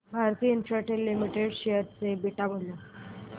Bharti Infratel limited share चे beta मूल्य